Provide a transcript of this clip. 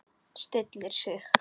Stillir sig.